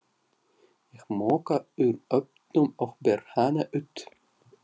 Ég moka úr ofnum og ber hana út.